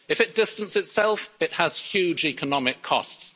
itself? If it distances itself, it has huge economic